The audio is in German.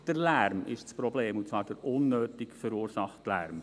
Der Lärm ist das Problem, und zwar der unnötig verursachte Lärm.